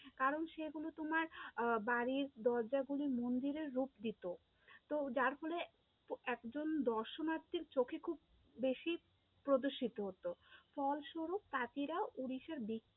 কারণ সেগুলো তোমার আহ বাড়ির দরজাগুলি মন্দিরের রূপ দিত, তো যার ফলে একজন দর্শনার্থীর চোখে খুব বেশি প্রদর্শিত হতো, ফলস্বরূপ তাঁতিরা উড়িষ্যার